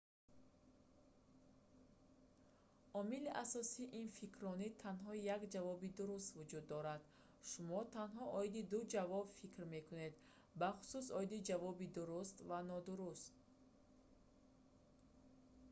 омили асосии ин фикрронӣ танҳо як ҷавоби дуруст вуҷуд дорад шумо танҳо оиди ду ҷавоб фикр мекунед бахусус оиди ҷавоби дуруст ва нодуруст